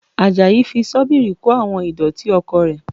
Àjàyí fi Ṣọ́bìrì kó àwọn ìdọ̀tí oko rẹ̀